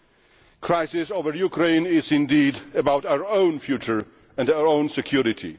The crisis in Ukraine is indeed about our own future and our own security.